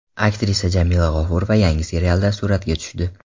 Aktrisa Jamila G‘ofurova yangi serialda suratga tushdi.